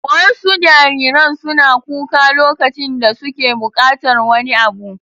Wasu jariran suna kuka lokacin da suke buƙatar wani abu.